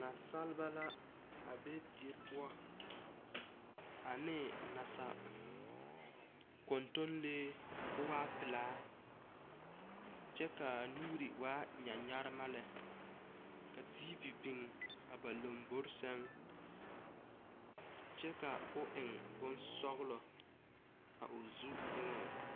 Nansaaleba la a be die poɔ ane nasakɔntonlee k'o waa pelaa kyɛ ka a nuuri waa nyanyarema lɛ tiivi biŋ a ba lombori sɛŋ kyɛ ka o eŋ bonsɔglɔ a o zu eŋaŋ.